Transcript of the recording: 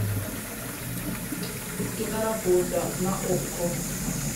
киноработа на окко